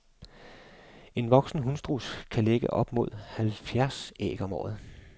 En voksen hunstruds kan lægge op mod halvfjerds æg om året.